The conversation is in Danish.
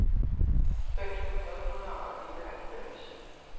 fem tusind otte hundrede og nioghalvfems